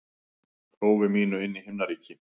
prófi mínu inn í himnaríki.